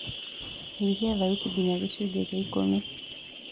nyihĩa thaũtĩ nginya gĩcunji gĩa ikumi